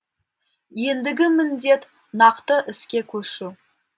ендігі міндет нақты іске көшу